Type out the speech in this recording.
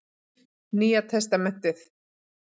Nýja testamentið.